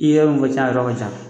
I ye yɔrɔ min fɔ tiɲɛ yɔrɔ ka ca